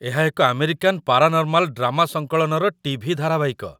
ଏହା ଏକ American paranormal drama ସଙ୍କଳନର ଟିଭି ଧାରାବାହିକ।